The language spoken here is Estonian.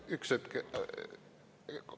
Üks hetk!